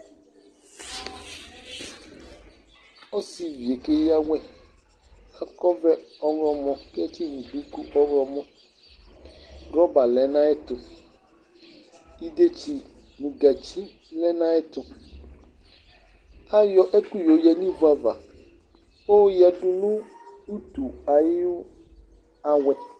Ɔsivi yɛ keyǝ awɛ Akɔ ɔvlɛ ɔɣlɔmɔ, kʋ edini yɛ bɩ lɛ ɔɣlɔmɔ Wrɔba lɛ nʋ ayʋ ɛtʋ, idetsi nʋ gǝtsi lɛ nʋ ayʋ ɛtʋ Ayɔ ɛkʋ yoyǝ nʋ ivu ava, kʋ ayo yǝdu nʋ utu ayʋ awɛ